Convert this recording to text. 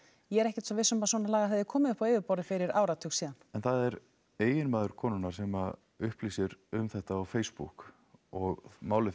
ég er ekkert svo viss um að svona lagað hefði komið upp á yfirborðið fyrir áratug síðan en það er eiginmaður konunnar sem upplýsir um þetta á Facebook og málið fer